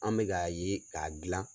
An bɛ ka ye k'a gilan